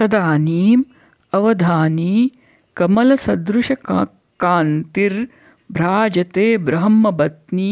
तदानीं अवधानी कमलसदृशकान्तिर्भ्राजते ब्रह्मबत्नी